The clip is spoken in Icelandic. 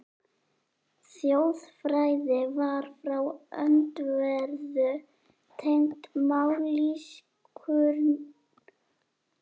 Þjóðfræði var frá öndverðu tengd mállýskurannsóknum víða á